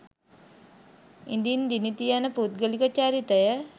ඉදින් දිනිති යන පුද්ගලික චරිතය